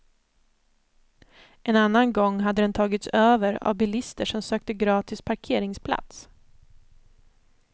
En annan gång hade den tagits över av bilister som sökte gratis parkeringsplats.